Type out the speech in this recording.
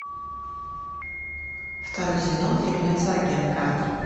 второй сезон фильмец агент картер